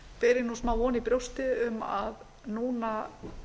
þá ber ég smávon í brjósti um að núna